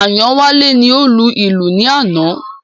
Ayanwale ni ó lu ìlù ní àná